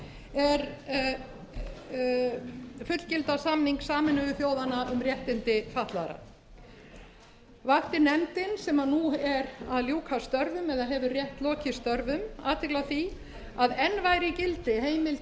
er fullgilda samning sameinuðu þjóðanna um réttindi fatlaðra vakti nefndin sem nú er að ljúka störfum eða hefur rétt lokið störfum athygli á því að enn væri í gildi heimild